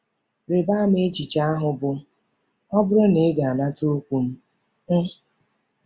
Rịba ama echiche ahụ bụ́ “ ọ bụrụ na ị ga-anata okwu m. m.